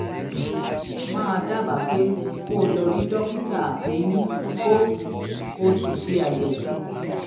màá dábàá pé kó o lọ rí dókítà eyín kó o sì ṣe àyẹ̀wò